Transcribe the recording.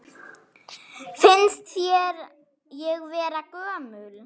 Finnst þér ég vera gömul?